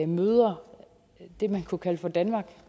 møder det man kunne kalde for danmark